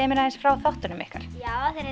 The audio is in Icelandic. mér aðeins frá þáttunum ykkar þeir